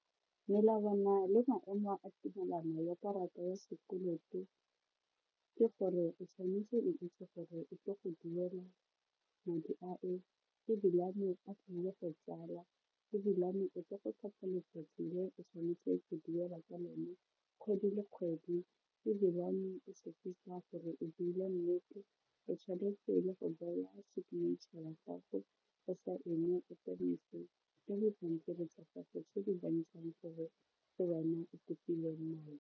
Melawana le maemo a tumelano ya karata ya sekoloto ke gore o tshwanetse o itse gore o tlile go duela madi ao ebilane a tlile go tsala ebilane o tlile go tlhopha letsatsi le o tshwanetseng go duela ka lone kgwedi le kgwedi ebilane gore o buile nnete o tshwanetse go baua a signature ya gago o saene o le dipampiri tsa gago tse di bontshang gore ke bana o kopileng madi.